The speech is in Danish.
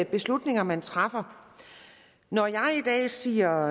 beslutninger man træffer når jeg i dag siger